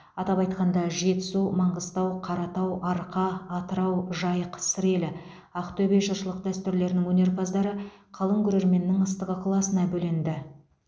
атап айтқанда жетісу маңғыстау қаратау арқа атырау жайық сыр елі ақтөбе жыршылық дәстүрлерінің өнерпаздары қалың көрерменнің ыстық ықыласына бөленді